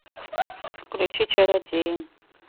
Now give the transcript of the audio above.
включи чародеи